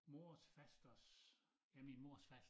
Mors fasters øh ja min mors faster